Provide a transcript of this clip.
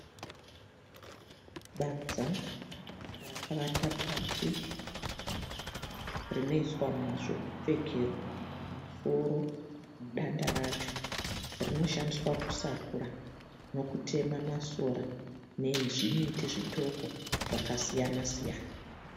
Badza rakavata pasi rinoiswa zvekupfekerwa musoro danda racho. Rinoshandiswa kusakura nokutema masora nezvimiti zvitoko zvakasiyana siyana.